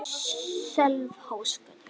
Sölvhólsgötu